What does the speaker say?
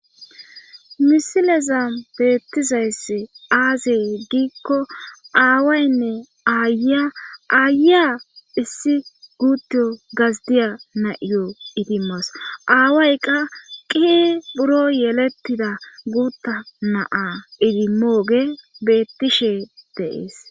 Misileza beettizayss aaze giikko aawaynne aaya aaya issi guutiyo gasdiya na'iyo idimawus aawayi qa qi buro yelettida guutta naa idimmooge bettishshe de'ees